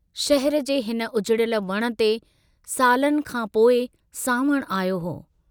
शहर जे हिन उजिड़यल वण ते सालनि खां पोइ सांवणु आयो हो।